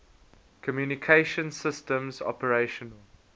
communication systems operational